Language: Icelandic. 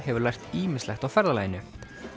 hefur lært ýmislegt á ferðalaginu